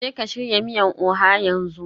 Jeka shirya miyar Oha yanzu